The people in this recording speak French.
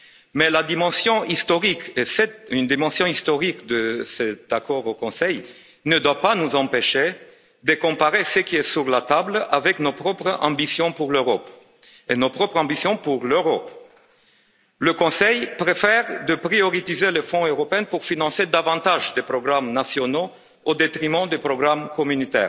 Mais la dimension historique car c'est bien une dimension historique de cet accord au Conseil ne doit pas nous empêcher de comparer ce qui est sur la table avec nos propres ambitions pour l'Europe et nos propres ambitions pour l'euro le Conseil préfère accorder la priorité au Fonds européen pour financer davantage de programmes nationaux au détriment des programmes de l'Union.